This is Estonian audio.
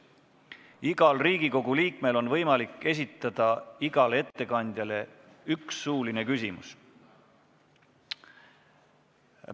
Igal Riigikogu liikmel on võimalik esitada igale ettekandjale üks suuline küsimus.